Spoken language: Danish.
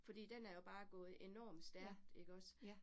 Fordi den er jo bare gået enormt stærkt ikke også